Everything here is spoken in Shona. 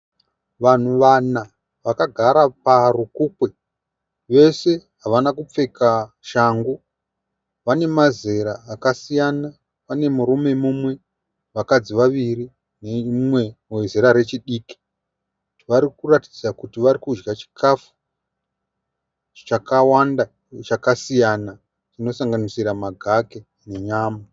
Vanhu vana vakagara parukukwe vese havana kupfeka shangu. Vane mazera akasiyana pane murume mumwe, vakadzi vaviri nemumwe wezera rechidiki. Vari kuratidza kuti vari kudya chikafu chakawanda chakasiyana chinosanganisira magaka nenyama.